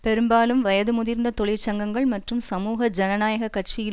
பெரும்பாலும் வயது முதிர்ந்த தொழிற்சங்கங்கள் மற்றும் சமூக ஜனநாயக கட்சியில்